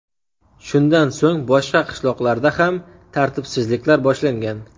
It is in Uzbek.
Shundan so‘ng boshqa qishloqlarda ham tartibsizliklar boshlangan.